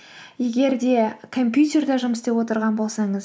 егер де компьютерде жұмыс істеп отырған болсаңыз